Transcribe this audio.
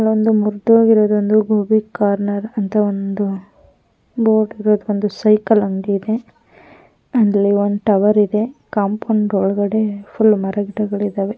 ಅಲ್ಲೊಂದು ಮುರ್ದೋಗಿರೋದೊಂದು ಗೋಬಿ ಕಾರ್ನರ್ ಅಂತ ಒಂದು ಬೋರ್ಡ್ ಇರೋದು ಒಂದು ಸೈಕಲ್ ಅಂಗಡಿ ಇದೆ ಅಲ್ಲಿ ಒಂದು ಟವರ್ ಇದೆ ಕಾಂಪೌಂಡ್ ಒಳಗಡೆ ಫುಲ್ ಮರ ಗಿಡಗಳು ಇದಾವೆ.